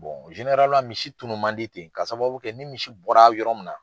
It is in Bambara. misi tunnu man di ten ka sababu kɛ ni misi bɔra yɔrɔ min na